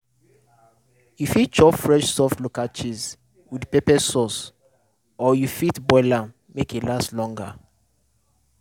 you fit chop fresh soft local cheese with pepper sauce or you fit boil am make e last longer